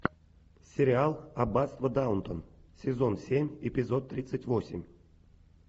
сериал аббатство даунтон сезон семь эпизод тридцать восемь